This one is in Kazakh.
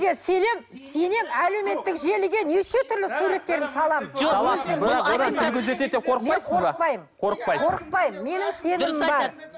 сенемін сенемін әлеуметтік желіге неше түрлі суреттерімді саламын